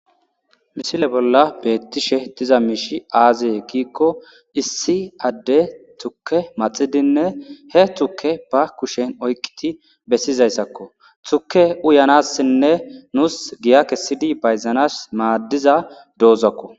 Misile bolla beettishe diza miishi aazee kiikko issi adde tukke maxidinne he tukke ba kushen oyqiti bessizayssakko tukke uyanassinne nuus giya kessidi bayzanas maaddiza doozakko.